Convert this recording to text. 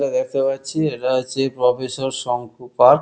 এটা দেখতে পাচ্ছি এটা হচ্ছে প্রফেসর শঙ্কু পার্ক --